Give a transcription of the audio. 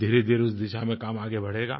धीरेधीरे उस दिशा में काम आगे बढ़ेगा